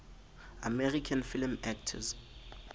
american film actors